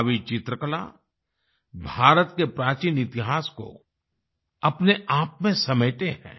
कावी चित्रकला भारत के प्राचीन इतिहास को अपने आप में समेटे है